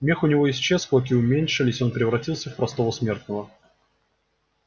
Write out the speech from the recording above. мех у него исчез клыки уменьшились и он превратился в простого смертного